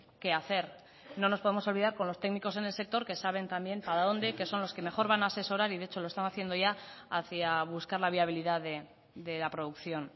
qué hacer no nos podemos olvidar con los técnicos en el sector que saben también para dónde que son los que mejor van a asesorar y de hecho lo están haciendo ya hacía buscar la viabilidad de la producción